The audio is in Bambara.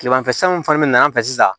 Kilemanfɛ san fana bɛna an fɛ sisan